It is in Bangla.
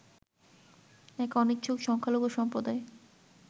এক অনিচ্ছুক সংখ্যালঘু সম্প্রদায়